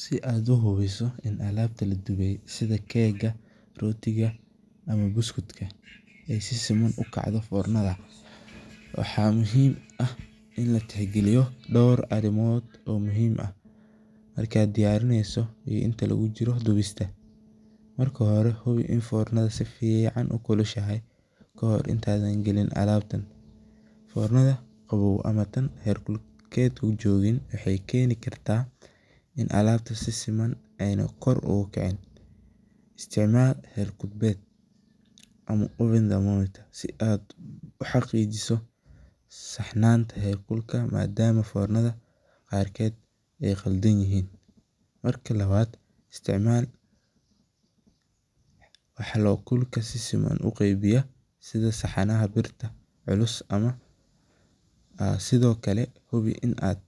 Si aad uhubiso in alaabta ladube aay si fican ukacdo foornada, waxaa muhiim ah in la tix galiyo door arimood oo muhiim u ah, marka hore hubi in fornada si fican ukulashahay, fornada qaboow waxeey keeni karta in alabta si fican kor oogu kicin, si aad uxaqiijise madama fornada qarkeed aay qaldan yihiin, isticmaal saxama birta, hubi inaad